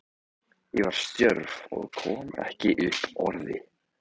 Ég var stjörf og kom ekki upp orði.